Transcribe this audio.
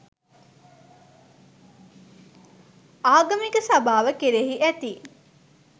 ආගමික සභාව කෙරෙහි ඇති